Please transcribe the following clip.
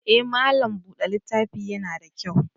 Eh, malam bude littafi ya na da kyau.